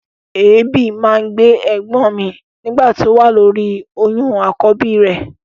Èébì máa ń gbé ẹ̀gbọ́n mi nígbà tó wà lóri oyún àkọ́bí rẹ̀.